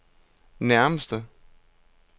nærmeste